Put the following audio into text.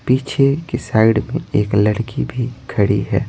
पीछे के साइड में एक लड़की भी खड़ी है।